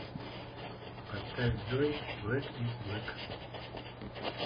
поставь джой блэк из блэк